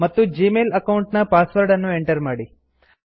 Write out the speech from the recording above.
ಮತ್ತು Gmail account ನ password ಅನ್ನು ಎಂಟರ್ ಮಾಡಿ